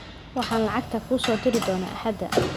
Waxaan lacagta kuu soo diri doonaa axaada.